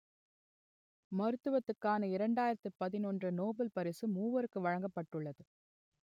மருத்துவத்துக்கான இரண்டாயிரத்து பதினொன்று நோபல் பரிசு மூவருக்கு வளங்கபட்டுலது